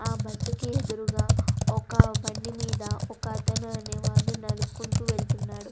ఆ బస్ కి ఎదురుగా ఒక బండి మీద ఒకతను అనేవారు నడుపుకుంటూ వెళ్తున్నారు.